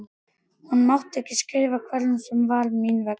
Hún mátti skrifa hverjum sem var mín vegna.